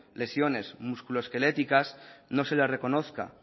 lesiones músculo esqueléticas no se les reconozcan